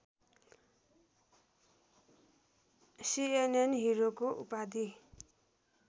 CNN हिरोको उपाधि